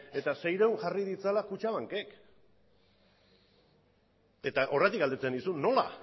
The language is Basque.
eta seiehun jarri ditzala kutxabankek eta horregatik galdetzen nizun nola